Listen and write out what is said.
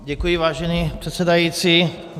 Děkuji, vážený předsedající.